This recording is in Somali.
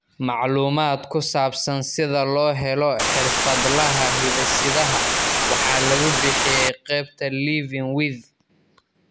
Macluumaad ku saabsan sida loo helo xirfadlaha hidde-sidaha waxa lagu bixiyay qaybta Living With.